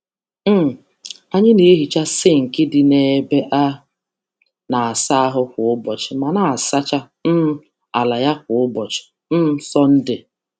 Anyị na-asacha sinki ime ụlọ ịsa ahụ kwa ụbọchị, ma na-asa taịl n’ime igwe mmiri n’ụbọchị Sọnde.